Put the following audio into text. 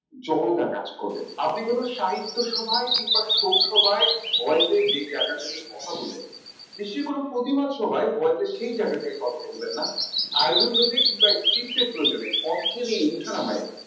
জরতা কাজ করবে আপনি কোন সাহিত্য সভায় কিংবা শোক সভায় voice এ যে জায়গা থেকে কথা বলবে। নিশ্চয় কোন প্রতিবাদ সভায় voice এ সেই জায়গা থেকে কথা বলবেন না আয়োজনবেদিক কিংবা তীর্থের প্রয়োজনে অর্থের এই উঠানামই